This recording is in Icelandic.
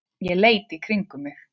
Ég leit í kringum mig.